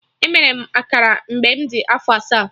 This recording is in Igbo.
Emere m akara mgbe m dị afọ asaa